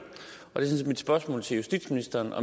mit spørgsmål til justitsministeren